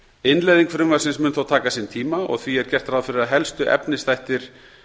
innleiðing frumvarpsins mun þó taka sinn tíma og því er gert ráð fyrir að helstu efnisþættir